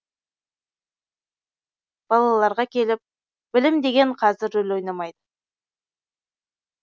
балаларға келіп білім деген қазір рөл ойнамайды